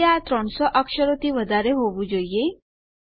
હવે આ 300 અક્ષરોથી વધારે હોવું જોઈએ